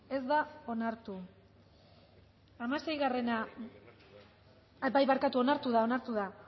ez da onartu barkatu bai onartu da